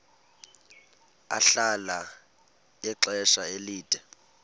ahlala ixesha elide